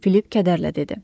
Filip kədərlə dedi.